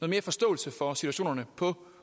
mere forståelse for situationen på